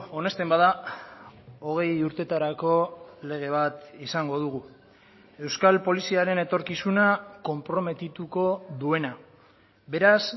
onesten bada hogei urtetarako lege bat izango dugu euskal poliziaren etorkizuna konprometituko duena beraz